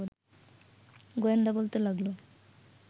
গোয়েন্দা বলতে লাগল